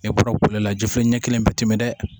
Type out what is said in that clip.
E bɔra la jifilen ɲɛ kelen bɛɛ tɛ tɛmɛ dɛ